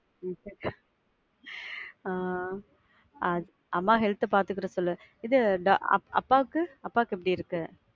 ஆஹ் அம்மா health பாத்துக்கிட சொல்லு. இது, அப்பா அப்பாவுக்கு அப்பாக்கு எப்படி இருக்கு?